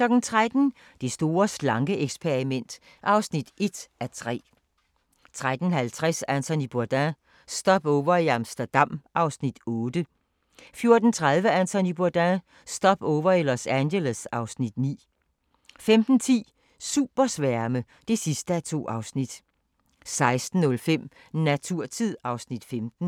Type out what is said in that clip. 13:00: Det store slanke-eksperiment (1:3) 13:50: Anthony Bourdain – Stopover i Amsterdam (Afs. 8) 14:30: Anthony Bourdain – Stopover i Los Angeles (Afs. 9) 15:10: Supersværme (2:2) 16:05: Naturtid (Afs. 15)